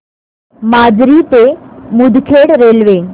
माजरी ते मुदखेड रेल्वे